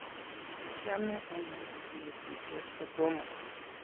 Kiachame ane kanetishet kotomo